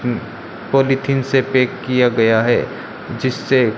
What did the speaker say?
polythene से pack किया गया है जिससे--